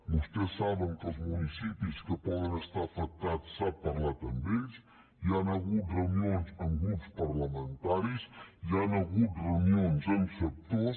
vostès saben que amb els municipis que poden estar afectats s’ha parlat amb ells hi han hagut reunions amb grups parlamentaris hi han hagut reunions amb sectors